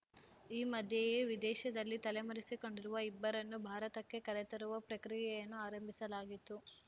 ಈ ಮಧ್ಯೆಯೇ ವಿದೇಶದಲ್ಲಿ ತಲೆಮರೆಸಿಕೊಂಡಿರುವ ಇಬ್ಬರನ್ನು ಭಾರತಕ್ಕೆ ಕರೆತರುವ ಪ್ರಕ್ರಿಯೆಯನ್ನು ಆರಂಭಿಸಲಾಗಿತ್ತು